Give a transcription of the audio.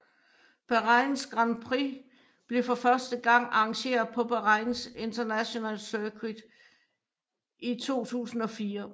Bahrains Grand Prix blev for første gang arrangeret på Bahrain International Circuit i 2004